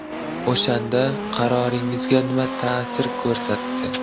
O‘shanda qaroringizga nima ta’sir ko‘rsatdi?